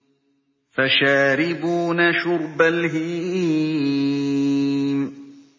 فَشَارِبُونَ شُرْبَ الْهِيمِ